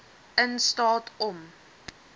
in staat om